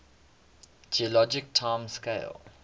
geologic time scale